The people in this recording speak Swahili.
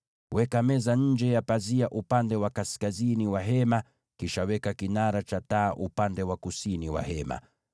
Weka meza nje ya pazia upande wa kaskazini wa Hema, kisha weka kinara cha taa upande wa kusini wa Hema.